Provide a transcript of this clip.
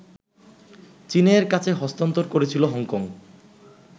চীনের কাছে হস্তান্তর করেছিল হংকং